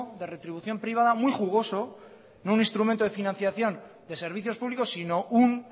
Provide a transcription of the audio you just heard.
de retribución privada muy jugoso no un instrumento de financiación de servicios públicos sino un